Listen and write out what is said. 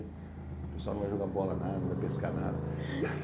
O pessoal não vai jogar bola nada, não vai pescar nada.